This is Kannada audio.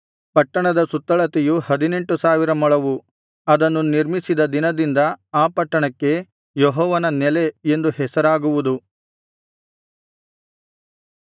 ಪಟ್ಟಣದ ಸುತ್ತಳತೆಯು ಹದಿನೆಂಟು ಸಾವಿರ ಮೊಳವು ಅದನ್ನು ನಿರ್ಮಿಸಿದ ದಿನದಿಂದ ಆ ಪಟ್ಟಣಕ್ಕೆ ಯೆಹೋವನ ನೆಲೆ ಎಂದು ಹೆಸರಾಗುವುದು